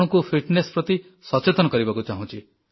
ଆପଣଙ୍କୁ ଫିଟନେସ୍ ପ୍ରତି ସଚେତନ କରିବାକୁ ଚାହୁଁଛି